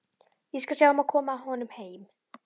Ég skal sjá um að koma honum heim.